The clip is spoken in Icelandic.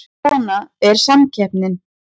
Svona er samkeppnin